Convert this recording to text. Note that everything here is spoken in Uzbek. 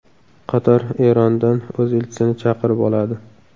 Qatar Erondan o‘z elchisini chaqirib oladi.